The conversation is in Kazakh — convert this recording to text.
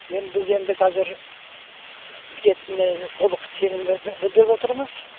енді біз енді қазір бітетініне толық сенім білдіріп отырмыз